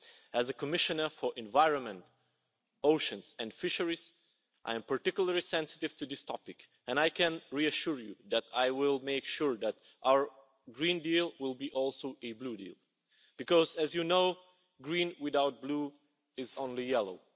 As the Commissioner for Environment, Oceans and Fisheries, I am particularly sensitive to this topic, and I can reassure you that I will make sure that our Green Deal will also be a blue deal because, as you know, green without blue is only yellow.